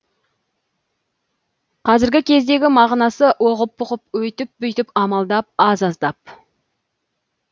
қазіргі кездегі мағынасы оғып бұғып өйтіп бүйтіп амалдап аз аздап